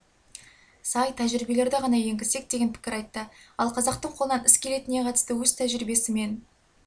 сай тәжірибелерді ғана енгізсек деген пікір айтты ал қазақтың қолынан іс келетініне қатысты өз тәжірибесімен